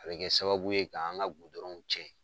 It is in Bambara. A bɛ kɛ sababu ye k'an ka gudɔrɔnw cɛn.